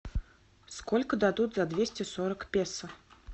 сколько дадут за двести сорок песо